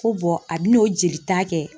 Ko a bi n'o jeli ta kɛ.